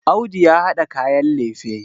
Audu ya hada kayan lefe